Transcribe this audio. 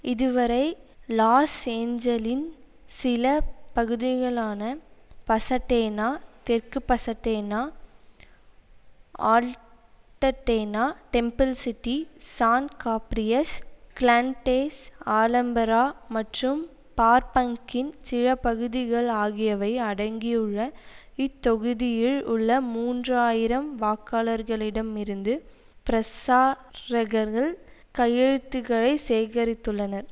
இதுவரை லாஸ் ஏஞ்சலின் சில பகுதிகளான பசட்டேனா தெற்கு Pasadena Altadena Temple City San Gabriel Glendale Alhambra மற்றும் பர்பாங்கின் சில பகுதிகள் ஆகியவை அடங்கியுள்ள இத்தொகுதியில் உள்ள மூன்று ஆயிரம் வாக்காளர்களிடம் இருந்து பிரசா ரகர்கள் கையெழுத்துகளை சேகரித்துள்ளனர்